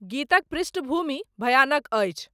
गीतक पृष्टभूमि भयानक अछि